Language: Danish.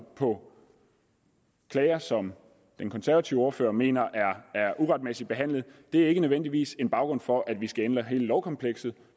på klager som en konservativ ordfører mener er uretmæssigt behandlet nødvendigvis skal danne baggrund for at vi skal ændre hele lovkomplekset